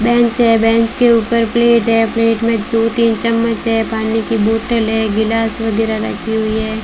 Bench है bench के ऊपर प्लेट है प्लेट में दो तीन चम्मच है पानी की बोतल है गिलास वगैरा रखी हुई है।